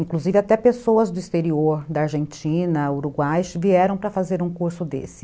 Inclusive até pessoas do exterior, da Argentina, Uruguai, vieram para fazer um curso desse.